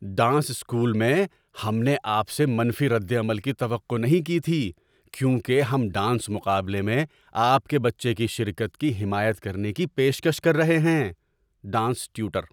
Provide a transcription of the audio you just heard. ‏Dance school میں، ہم نے آپ سے منفی رد عمل کی توقع نہیں کی تھی کیونکہ ہم ڈانس مقابلے میں آپ کے بچے کی شرکت کی حمایت کرنے کی پیشکش کر رہے ہیں۔ (ڈانس ٹیوٹر)